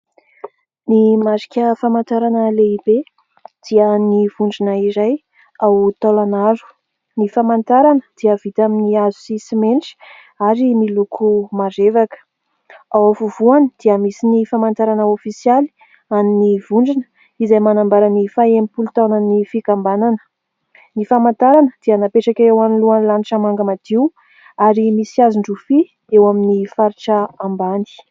Ny marika famantarana lehibe dia ny vondrona iray ao Taolagnaro. Ny famantarana dia vita amin'ny hazo sy simenitra ary miloko marevaka. Ao afovoany dia misy ny famantarana ofisialy an'ny vondrona izay manambara ny faha-enimpolo taonan'ny fikambanana. Ny famantarana dia napetraka eo anoloan'ny lanitra manga madio ary misy hazon-drofia eo amin'ny faritra ambany.